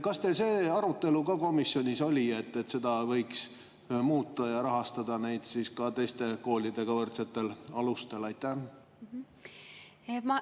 Kas teil see arutelu ka komisjonis oli, et seda võiks muuta ja rahastada neid teiste koolidega võrdsetel alustel?